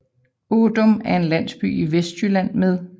Ådum er en landsby i Vestjylland med